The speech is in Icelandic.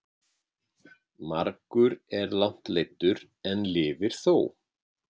Margur er langt leiddur en lifir þó.